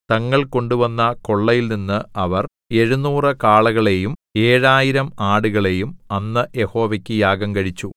തങ്ങൾ കൊണ്ടുവന്ന കൊള്ളയിൽനിന്ന് അവർ എഴുനൂറ് കാളകളെയും ഏഴായിരം ആടുകളെയും അന്ന് യഹോവയ്ക്ക് യാഗം കഴിച്ചു